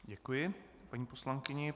Děkuji paní poslankyni.